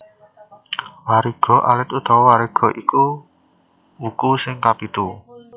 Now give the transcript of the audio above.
Wariga alit utawa Wariga iku wuku sing kapitu